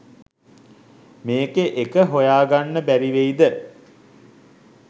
මේකෙ එක හොයාගන්න බැරිවෙයිද?